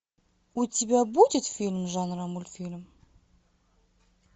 у тебя будет фильм жанра мультфильм